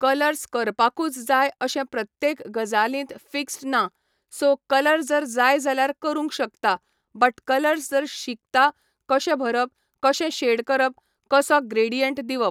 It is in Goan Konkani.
कलर्स करपाकूच जाय अशें प्रत्येक गजालींत फिक्स्ड ना, सो कलर जर जाय जाल्यार करूंक शकता, बट कलर्स जर शिकता कशे भरप, कशे शेड करप, कसो ग्रेडियंट दिवप.